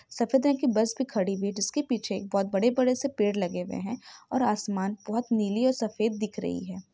सफेद रंग की बस भी खड़ी हुई हैं जिसके पीछे एक बहुत बड़े - बड़े से पेड़ लगे हुए हैं और असमान बहुत नीली और सफेद दिख रही हैं।